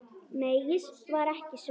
Nei, ég var ekki svöng.